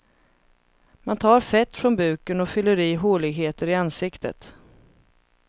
Man tar fett från buken och fyller i håligheter i ansiktet.